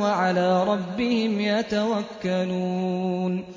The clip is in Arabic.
وَعَلَىٰ رَبِّهِمْ يَتَوَكَّلُونَ